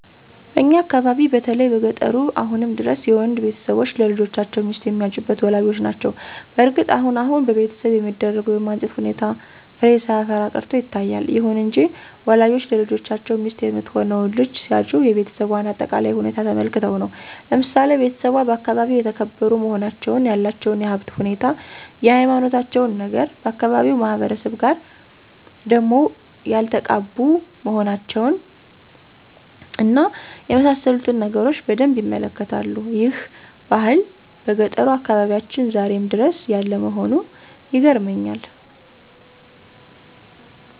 በእኛ አካባቢ በተለይ በገጠሩ አሁንም ድረስ የወንድ ቤተሰቦች ለልጆቻቸው ሚስት የሚያጩት ወላጆች ናቸው። በእርግጥ አሁን አሁን በቤተሰብ የሚደረገው የማጨት ሁኔታ ፍሬ ሳያፈራ ቀርቶ ይታያል። ይሁን እንጂ ወላጆች ለልጆቻቸው ሚስት የምትሆነውን ልጅ ሲያጩ የቤሰቧን አጠቃላይ ሁኔታ ተመልክተው ነው። ለምሳሌ ቤተሰቧ በአካባቢው የተከበሩ መሆናቸውን፣ ያላቸውን የሀብት ሁኔታ፣ የሀይማኖታቸውን ነገር፣ ከአካባቢው ማህበረሰብ ጋር ደም ያልተቃቡ መሆናቸውን እና የመሳሰሉትን ነገሮች በደንብ ይመለከታሉ። ይህ ባህል በገጠሩ አካባቢያችን ዛሬም ድረስ ያለ መሆኑ ይገርመኛል።